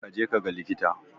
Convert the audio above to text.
Ka je kaga likita.